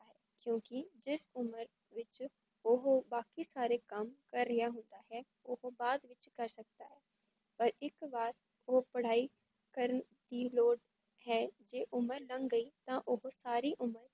ਕਿਉਂਕੀ ਜਿਸ ਉਮਰ ਵਿੱਚ ਓਹ ਬਾਕੀ ਸਾਰੇ ਕੱਮ ਕਰ ਰਿਹਾ ਹੁੰਦਾ ਹੈ, ਉਹ ਤੋ ਬਾਅਦ ਵੀਚ ਕਰ ਸਕਦਾ ਹੈ ਇਸ ਬਾਰ ਓਹ ਪੜ੍ਹਾਈ ਕਰਨ ਦੀ ਲੋੜ ਹੈ ਜੇ ਉਮਰ ਲੰਘ ਗਈ ਤਾਂ ਓਹ ਸਾਰੀ ਉਮਰ